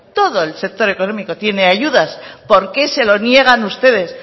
todo el sector económico tiene ayudas por qué se lo niegan ustedes